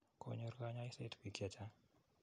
Kanyor kanyoiset piik che chang'.